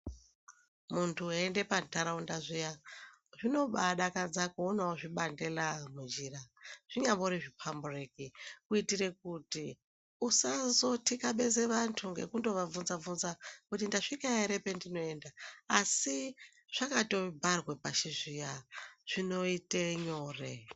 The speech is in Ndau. Muntu eiende pantaraunda zviya, zvinobaadakadza kuonawo zvibandela munjira zvinyambori zviphambureki ,kuitire kuti usazothikabeza vantu ngekundovabvunza-bvunza ,kuti ndasvika ere pendinoenda, asi zvakatobharwe pashi zviya ,zvinoite nyore.